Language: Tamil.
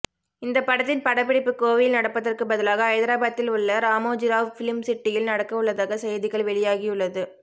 இந்த படத்தின் படப்பிடிப்பு கோவையில் நடப்பதற்குப் பதிலாக ஐதராபாத்தில் உள்ள ராமோஜிராவ் பிலிம் சிட்டியில் நடக்க உள்ளதாக செய்திகள் வெளியாகியுள்ளது